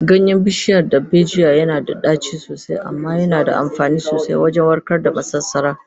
Ganyen bishiyar darbejiya yana da ɗaci sosai, amma yana da amfani sosai wajen warkar da masasara.